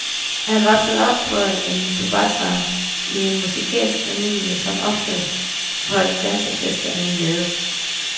Han voksede op på en tobaksfarm, i en musikalsk familie, som ofte holdt dansefester i en lade.